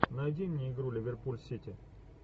найди мне игру ливерпуль сити